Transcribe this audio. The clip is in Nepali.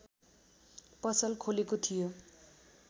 पसल खोलेको थियो